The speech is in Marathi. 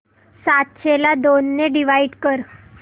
सातशे ला दोन ने डिवाइड कर